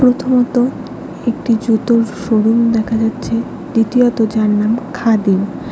প্রথমত একটি জুতোর শোরুম দেখা যাচ্ছে দ্বিতীয়ত যার নাম খাদিম ।